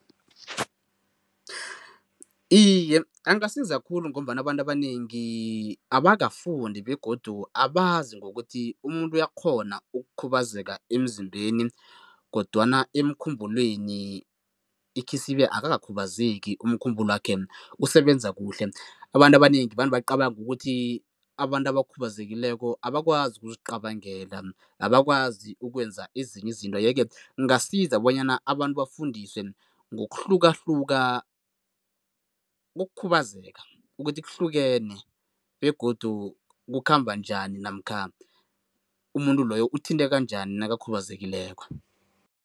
Iye, angasiza khulu ngombana abantu abanengi abakafundi begodu abazi ngokuthi umuntu uyakghona ukukhubazeka emzimbeni kodwana emkhumbulweni ikhisibe akakakhubazeki, umkhumbulwakhe usebenze kuhle. Abantu abanengi vane bacabange ukuthi abantu abakhubazekileko abakwazi ukuzicabangela, abakwazi ukwenza ezinye izinto, yeke kungasiza bonyana abantu bafundiswe ngokuhlukahluka kokukhubazeka, ukuthi kuhlukene begodu kukhamba njani namkha umuntu loyo uthinteka njani nakakhubazekileko.